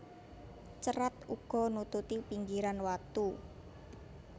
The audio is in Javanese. Cerat uga nututi pinggiran watu